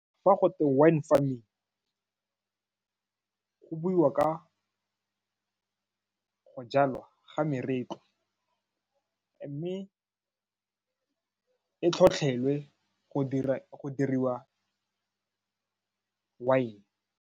Fa go twe wine farming go buiwa ka go jalwa ga meretlwa mme e tlhotlhelwe go dira wine.